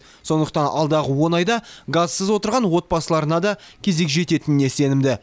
сондықтан алдағы он айда газсыз отырған отбасыларына да кезек жететініне сенімді